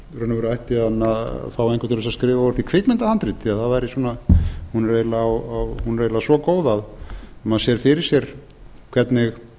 veru ætti hann að fá einhvern til að skrifa úr því kvikmyndahandrit því hún er eiginlega svo góð að maður sér fyrir sér hvernig